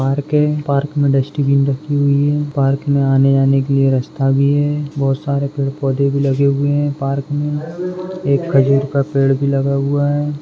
Park है park मे dustbin रखी हुई है पार्क मे आने जाने के लिये रस्ता भी है बहुत सारे पेड पौधे भी लगे हुये है पार्क मे एक खजूर का पड़े भी लगा हुआ है।